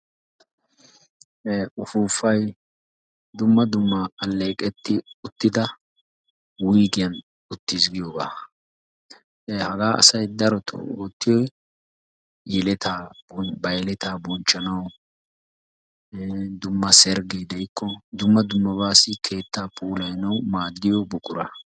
Ufufay dumma dumma alleeqeti uttida wuyggiyan utti giyooga. Haga asay darottoo ootiyoy yeletta, ha yeletta bonchchanaw dumma sergge de"ikko dumna dummabassi keettaa puulayanawu maaddiyo buqura.